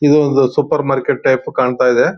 ಇದು ಒಂದು supermarket type ಕಾಣತಾಯಿದೆ.